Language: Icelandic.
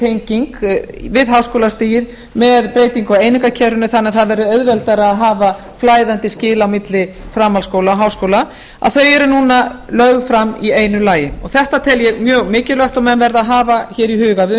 tenging við háskólastigið með breytingu á einingakerfinu þannig að það verði auðveldara að hafa flæðandi skil á milli framhaldsskóla og háskóla að þau eru núna lögð fram í einu lagi þetta tel ég mjög mikilvægt og menn verða að hafa í huga við